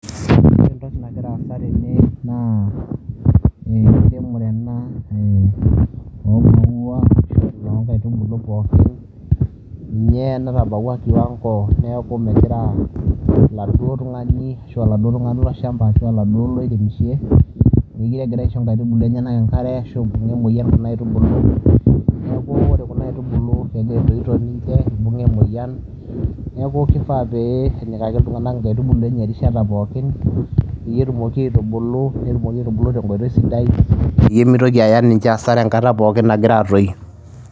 Ore entoki nagira aasa tene naa enkiremore ena ee oo maua ashu oo inkaitubulu pookin nye natabawua kiwang'o neeku megira oladuo tung'ani ashu oladuo tung'ani lolshamba ashu oladuo lairemishe mekire egira aisho inkaitubulu enyenak enkare ashu ibung'a emoyian kuna aitubulu. Neeku ore kuna aitubulu etoito ninche ibung'a emoyian, neeku ifaa pee enyikaki iltung'anak inkaitubulu enye erishata pookin peyie etumoki aitubulu, netumoki aitubulu tenkoitoi sidai peyie mitoki aaya ninche hasara enkata pookin nagira aatoyu.